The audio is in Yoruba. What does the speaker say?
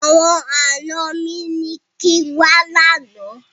Àwọn àna mi ní kín wá lánàá.